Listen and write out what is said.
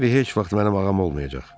Harvi heç vaxt mənim ağam olmayacaq.